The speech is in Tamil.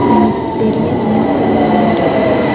இங்கிட் பெரிய மீன் கட ஒன்னு இருக்குது.